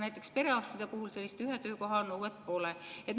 Näiteks perearstide puhul sellist ühe töökoha nõuet pole.